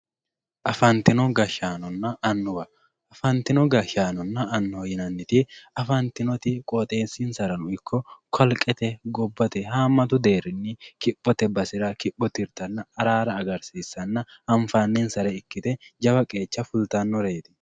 Afantino gashaanona anuwa afantino gashanona anuwa yineemoti afantinoti qooxesinsarano ikko kalqete gobbate haamatu deerini kiphote basera kiphpho tirtanna arara agartana anfanisa gede ikite jawa keecha kultanoreet